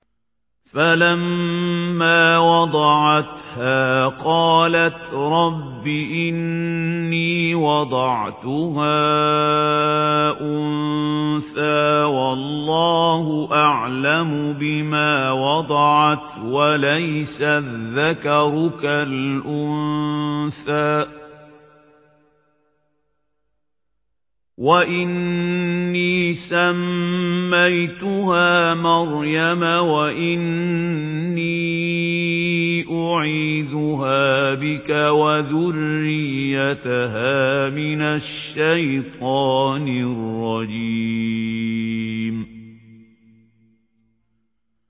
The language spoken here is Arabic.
فَلَمَّا وَضَعَتْهَا قَالَتْ رَبِّ إِنِّي وَضَعْتُهَا أُنثَىٰ وَاللَّهُ أَعْلَمُ بِمَا وَضَعَتْ وَلَيْسَ الذَّكَرُ كَالْأُنثَىٰ ۖ وَإِنِّي سَمَّيْتُهَا مَرْيَمَ وَإِنِّي أُعِيذُهَا بِكَ وَذُرِّيَّتَهَا مِنَ الشَّيْطَانِ الرَّجِيمِ